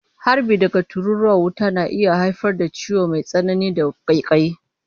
Harbi daga tururuwa na wuta na iya haifar da ciwo mai tsanani da ƙaiƙayi.